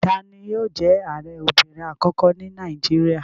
Tani yóò jẹ́ Ààrẹ obìnrin àkọ́kọ́ ní Nàìjíríà?